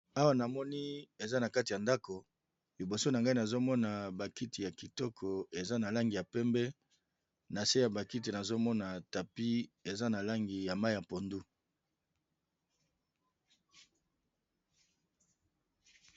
Awa namoni eza na kati ya ndako, liboso na ngai nazo mona ba kiti ya kitoko eza na langi ya pembe na se ya ba kiti nazo mona tapi eza na langi ya mayi ya pondu.